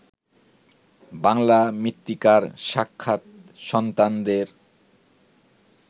বাঙলা মৃত্তিকার সাক্ষাৎ সন্তানদের